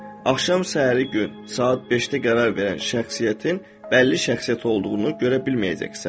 Axşam səhəri gün saat beşdə qərar verən şəxsiyyətin bəlli şəxsiyyət olduğunu görə bilməyəcəksən.